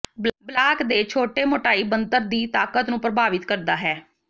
block ਦੇ ਛੋਟੇ ਮੋਟਾਈ ਬਣਤਰ ਦੀ ਤਾਕਤ ਨੂੰ ਪ੍ਰਭਾਵਿਤ ਕਰਦਾ ਹੈ